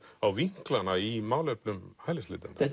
á vinklana í málefnum hælisleitenda